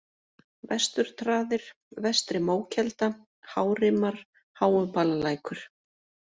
Vesturtraðir, Vestri-Mókelda, Hárimar, Háubalalækur